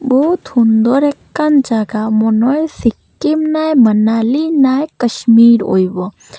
বহুত হুন্দর একখান জাগা মনে হয় সিক্কিম নায় মানালী নায় কাশ্মীর হইবো।